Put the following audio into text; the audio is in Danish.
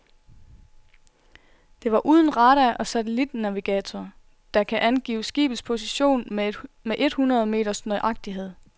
Det var uden radar og satellitnavigator, der kan angive skibets position med et hundrede meters nøjagtighed.